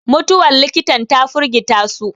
mutuwar likitan ta firgita su